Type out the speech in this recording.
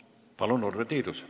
Palun, Urve Tiidus!